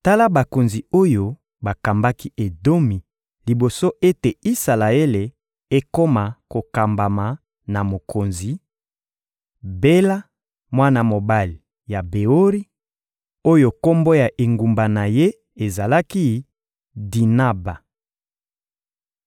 Tala bakonzi oyo bakambaki Edomi liboso ete Isalaele ekoma kokambama na mokonzi: Bela, mwana mobali ya Beori, oyo kombo ya engumba na ye ezalaki «Dinaba.»